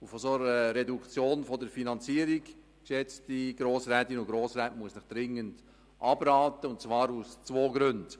Von einer solchen Reduktion der Finanzierung, geschätzte Grossrätinnen und Grossräte, muss ich Ihnen dringend abraten, und zwar aus zwei Gründen.